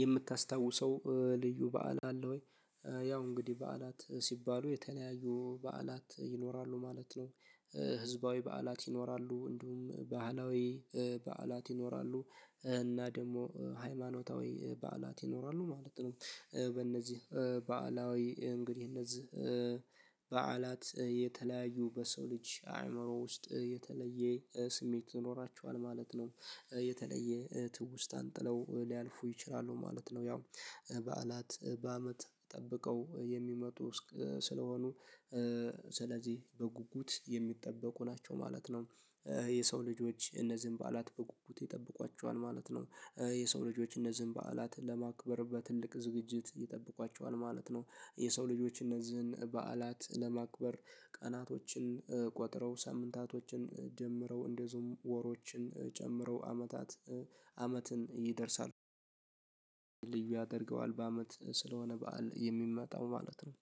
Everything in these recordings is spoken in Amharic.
የምታስታውሰው ልዩ በዓል አለ ወይ? ያው እንግዲህ በዓላት ሲባሉ የተለያዩ በዓላት ይኖራሉ ማለት ነው። ህዝባዊ በዓላት ይኖራሉ እንዲሁም ባህላዊ በዓላት ይኖራሉ እና ደግሞ ሃይማኖታዊ በዓላት ይኖራሉ ማለት ነው። በእነዚህ በዓላዊ እንግዲህ እነዚህ በዓላት የተለያዩ በሰው ልጅ አይምሮ ውስጥ የተለየ ስሜት ይኖራቸዋል ማለት ነው። የተለየ ትውስታን ጥለው ሊያልፉ ይችላሉ ማለት ነው። ያው በዓላት በአመት ጠብቀው የሚመጡም ስለሆኑ ስለዚህ በጉጉት የሚጠበቁ ናቸው ማለት ነው። የሰው ልጆች እነዚህን በዓላት በጉጉት ይጠብቋቸዋል ማለት ነው። የሰው ልጆች እነዚህን በዓላት ለማክበር በትልቅ ዝግጅት ይጠብቋቸዋል ማለት ነው። የሰው ልጆችን እነዚህን በዓላት ለማክበር ቀናቶችን ቆጥረው ሳምንታቶችን ጀምረው እንደዚሁም ወሮችን ጨምረው አመታት አመትን ይደርሳሉ። ያደርገዋል በአመት ስለሆነ በዓል የሚመጣው ማለት ነው።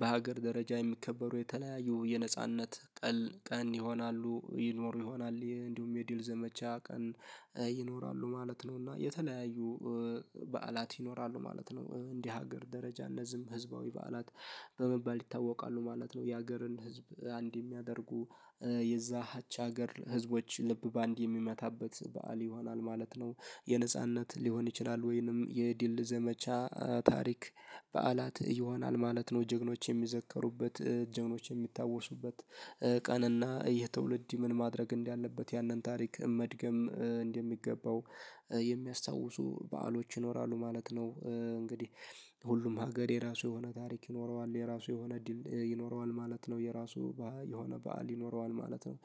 በሀገር ደረጃ የሚከበሩ የተለያየ የነጻነት ቀን ቀን ይሆናሉ ይኖሩ ይሆናል እንዲሁም የድል ዘመቻ ቀን ይኖራሉ ማለት ነው። እና የተለያዩ በዓላት ይኖራሉ ማለት ነው። እንደ ሀገር ደረጃ እነዚህም ህዝባዊ በዓላት በመባል ይታወቃሉ ማለት ነው። የሀገርን ህዝብ አንድ የሚያደርጉ የዛቻ ሀገር ህዝቦች ልብ በአንድ የሚመታበት በዓል ይሆናል ማለት ነው። የነጻነት ሊሆን ይችላል ወይንም የድል ዘመቻ ታሪክ በዓላት ይሆናል ማለት ነው። ጀግኖች የሚዘከሩበት ጀግኖች የሚታወሱበት ቀንና ይህ ትውልድ ምን ማድረግ እንዳለበት ያንን ታሪክ መድገም እንደሚገባው የሚያስታውሱ በዓሎች ይኖራሉ ማለት ነው። እንግዲህ ሁሉም ሀገር የራሱ የሆነ ታሪክ ይኖረዋል የራሱ የሆነ ድል ይኖረዋል ማለት ነው የራሱ የሆነ በዓል ይኖረዋል ማለት ነው።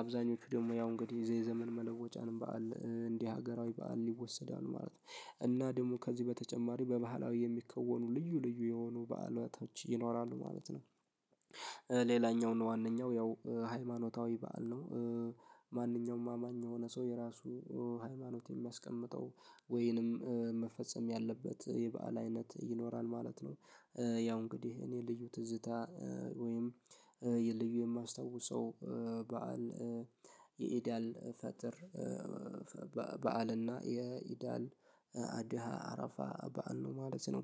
አብዛኞቹ ደግሞ ያው እንግዲህ የዘመን መለወጫን በዓል እንደ ሀገራዊ በዓል ይወሰዳሉ ማለት ነው። እና ደግሞ ከዚህ በተጨማሪ በባህላዊ የሚከወኑ ልዩ ልዩ የሆኑ በዓል ሁኔታዎች ይኖራሉ ማለት ነው። ሌላኛው ነው ዋናው ያው ሃይማኖታዊ በዓል ነው። ማንኛውም አማኝ የሆነ ሰው የራሱ ሃይማኖት የሚያስቀምጠው ወይንም መፈጸም ያለበት የበአል አይነት ይኖራል ማለት ነው። ያው እንግዲህ እኔ ልዩ ትዝታ ወይም የ ልዩ የማስታውሰው በዓል የኢዳል ፈጥር በዓልና የኢዳል አድሃ አረፋ በዓል ነው ማለት ነው።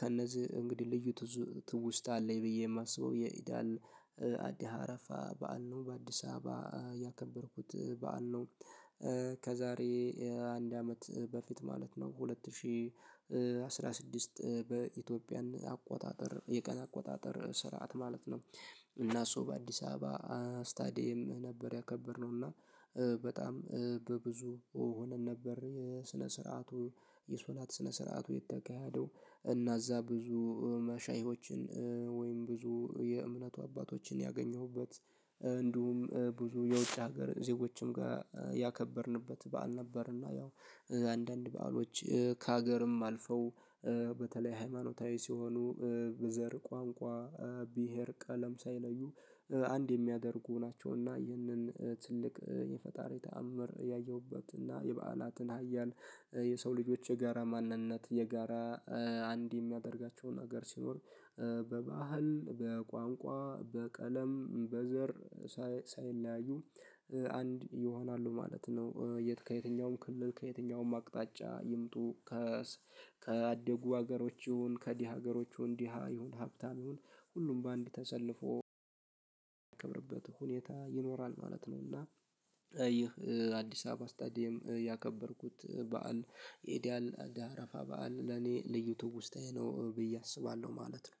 ከእነዚህ እንግዲህ ልዩ ትውስታ አለኝ ብዬ የማስበው የኢዳል አድሃ አረፋ በዓል ነው በአዲስ አበባ ያከበርኩት በዓል ነው። ከዛሬ አንድ አመት በፊት ማለት ነው ሁለት ሺህ አስራ ስድስት በኢትዮጵያን አቆጣጠር የቀን አቆጣጠር ስርዓት ማለት ነው። እና እሱ በአዲስ አበባ ስታዲየም ነበር ያከበርነው እና። በጣም በብዙ ሆነን ነበር የስነ ስርዓቱ የሶላት ስነ ስርዓቱ የተካሄደው እና እዛ ብዙ መሻሂዎችን ወይም ብዙ የእምነቱ አባቶችን ያገኘሁበት። እንዲሁም ብዙ የውጭ ሀገር ዜጎችም ጋር ያከበርንበት በዓል ነበርና ያው። አንዳንድ በዓሎች ከሀገርም አልፈው በተለይ ሃይማኖታዊ ሲሆኑ በዘር ቋንቋ ብሄር ቀለም ሳይለዩ አንድ የሚያደርጉ ናቸው። ይህንን ትልቅ የፈጣሪ ተአምር ያየሁበትና የበአላትን ሀያል የሰው ልጆች የጋራ ማንነት የጋራ አንድ የሚያደርጋቸውን ሀገር ሲኖር በባህል በቋንቋ በቀለም በዘር ሳይለያዩ አንድ ይሆናሉ ማለት ነው። የት ከየትኛውም ክልል ከየትኛውም አቅጣጫ ይምጡ ከ ከአደጉ ሀገሮች ይሁን ከድሀ ሀገሮቹ ድሀ ይሁን ሀብታም ይሁን ሁሉም በአንድ ተሰልፎ የሚከብርበት ሁኔታ ይኖራል ማለት ነው። እና ይህ አዲስ አበባ ስታዲየም ያከበርኩት በዓል የኤዲያል አረፋ በዓል ለኔ ልዩ ትውስታዬ ነው ብዬ አስባለሁ ማለት ነው